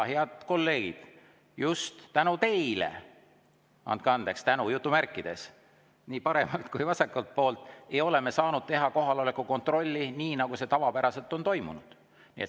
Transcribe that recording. Head kolleegid nii paremalt kui vasakult poolt, just "tänu" teile – andke andeks, "tänu" on jutumärkides – ei ole me saanud teha kohaloleku kontrolli, nii nagu see tavapäraselt on toimunud.